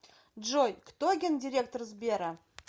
джой кто гендиректор сбера